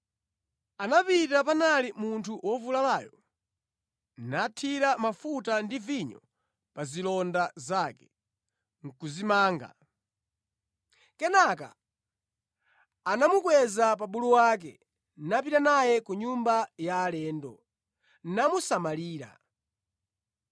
Anapita panali munthu wovulalayo, nathira mafuta ndi vinyo pa zilonda zake, nʼkuzimanga. Kenaka anamukweza pa bulu wake, napita naye ku nyumba ya alendo, namusamalira.